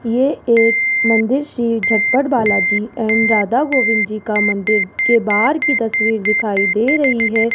ये एक मंदिर श्री झटपट बालाजी एंड राधा गोविंद जी का मंदिर के बाहर की तस्वीर दिखाई दे रही है।